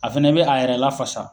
A fɛnɛ be a yɛrɛ lafasa.